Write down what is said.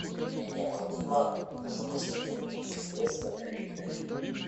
мне необходимо занести денежные средства коллеге на телефон